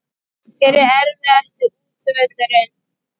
Hver er erfiðasti útivöllurinn?